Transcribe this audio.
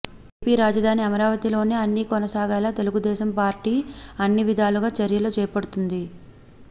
AP రాజదాని అమరావతిలోనే అన్ని కొనసాగేలా Telugu Desam party అన్ని విదాలుగా చర్యలు చేపడుతుంది